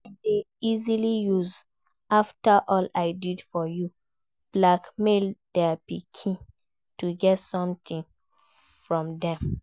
Parents de easily use 'after all i did for you' blackmail their pikin to get something from dem